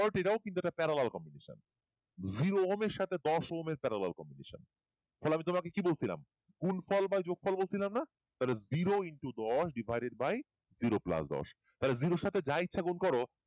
এটাও কিন্তু একটা parallel combination জিরো ওহমের সাথে parallel combination তাহলে তোমাকে আমি কি বলছিলাম গুণফল বা যোগফল বলছিলাম না তাহলে জিরো into দশ divided by জিরো plus তাহলে জিরার সাথে যা ইচ্ছে গুন করো